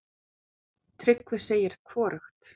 Tryggvi segir hvorugt.